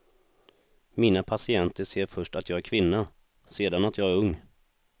Mina patienter ser först att jag är kvinna, sedan att jag är ung.